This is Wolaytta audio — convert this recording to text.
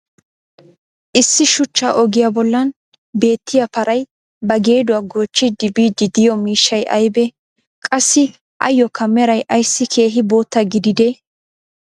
issi shuchcha ogiyaa bolan beettiya paray ba geeduwaa goochchidi biidi diyo miishshay aybee? qassi ayookka meray ayssi keehi bootta gididdee?